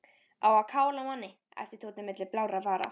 Á að kála manni æpti Tóti milli blárra vara.